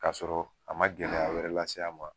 Ka sɔrɔ a man gɛlɛya wɛrɛ lase a ma.